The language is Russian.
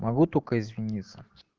могу только извиниться